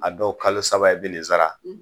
A dɔw kalo saba i bi nin sara